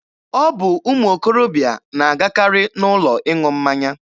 Ọ bụ ụmụ okorobịa na-agakarị n'ụlọ ịṅụ mmanya.